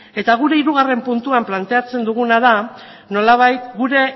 eta gure hirugarren puntuan planteatzen duguna da nolabait gure